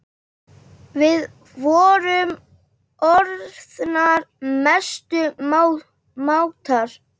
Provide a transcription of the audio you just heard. Við vorum orðnar mestu mátar.